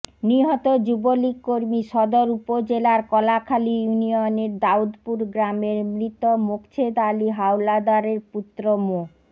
নিহত যুবলীগ কর্মী সদর উপজেলার কলাখালী ইউনিয়নের দাউদপুর গ্রামের মৃত মোকছেদ আলী হাওলাদারের পুত্র মো